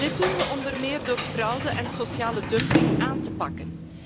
Dit doen we onder meer door fraude en sociale dumping aan te pakken.